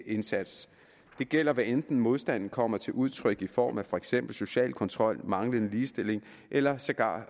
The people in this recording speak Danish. indsats det gælder hvad enten modstanden kommer til udtryk i form af for eksempel social kontrol manglende ligestilling eller sågar